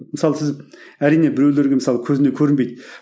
мысалы сіз әрине біреулерге мысалы көзіне көрінбейді